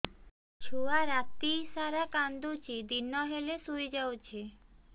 ଛୁଆ ରାତି ସାରା କାନ୍ଦୁଚି ଦିନ ହେଲେ ଶୁଇଯାଉଛି